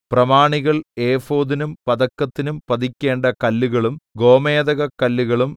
പ്രമാണികൾ ഏഫോദിനും പതക്കത്തിനും പതിക്കേണ്ട കല്ലുകളും ഗോമേദകക്കല്ലുകളും